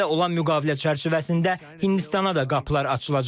Çinlə olan müqavilə çərçivəsində Hindistana da qapılar açılacaq.